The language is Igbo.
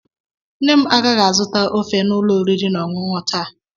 Nne m agaghị azụta ofe n'ụlọ oriri na ọṅụṅụ taa.